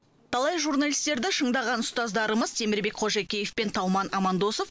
талай журналистерді шыңдаған ұстаздарымыз темірбек қожакеев пен тауман амандосов